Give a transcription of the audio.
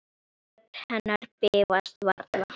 Rödd hennar bifast varla.